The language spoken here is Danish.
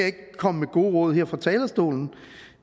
ikke komme med gode råd her fra talerstolen